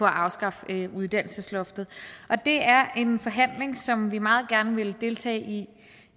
afskaffe uddannelsesloftet det er en forhandling som vi meget gerne vil deltage i